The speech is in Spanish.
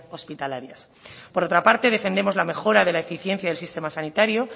hospitalarias por otra parte defendemos la mejora de la eficiencia del sistema sanitario